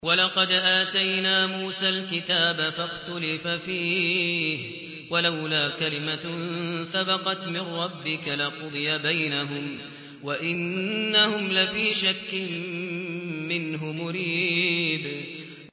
وَلَقَدْ آتَيْنَا مُوسَى الْكِتَابَ فَاخْتُلِفَ فِيهِ ۗ وَلَوْلَا كَلِمَةٌ سَبَقَتْ مِن رَّبِّكَ لَقُضِيَ بَيْنَهُمْ ۚ وَإِنَّهُمْ لَفِي شَكٍّ مِّنْهُ مُرِيبٍ